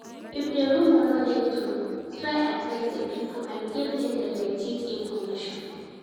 If di rumor no de true try address di pipo and give dem di legit information